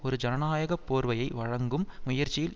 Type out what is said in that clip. ஒரு ஜனநாயக போர்வையை வழங்கும் முயற்சியில்